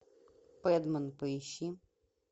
пэдмен поищи